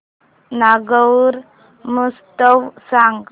नागौर महोत्सव सांग